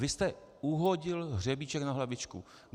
Vy jste uhodil hřebíček na hlavičku.